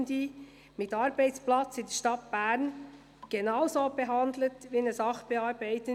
Bitte missbrauchen Sie dazu nicht meinen Namen.